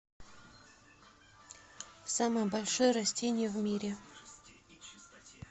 самое большое растение в мире